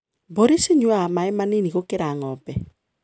Mbũrĩ cinyuaga maĩ manini gũkĩra ngombe.